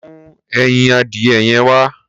Mú ẹyin adìyẹ yẹn wá.